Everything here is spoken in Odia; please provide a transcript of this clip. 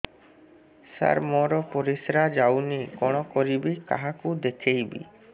ସାର ମୋର ପରିସ୍ରା ଯାଉନି କଣ କରିବି କାହାକୁ ଦେଖେଇବି